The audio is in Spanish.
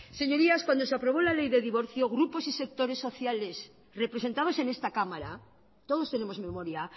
señorías cuando se aprobó la ley de divorcio grupos y sectores sociales representados en esta cámara todos tenemos memoria